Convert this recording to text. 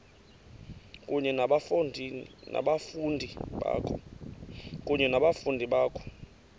kunye nabafundi bakho